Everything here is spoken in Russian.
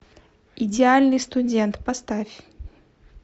идеальный студент поставь